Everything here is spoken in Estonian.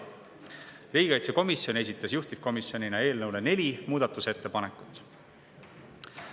Riigikaitsekomisjon esitas juhtivkomisjonina eelnõu kohta neli muudatusettepanekut.